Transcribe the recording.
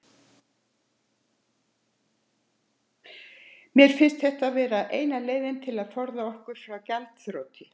Mér fannst þetta vera eina leiðin til að forða okkur frá gjaldþroti.